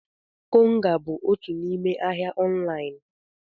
Konga bụ otu n'ime ahịa ọnlaịn.